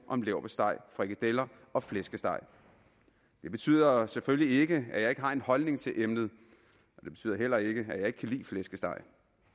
om leverpostej frikadeller og flæskesteg det betyder selvfølgelig ikke at jeg ikke har en holdning til emnet det betyder heller ikke at jeg ikke kan lide flæskesteg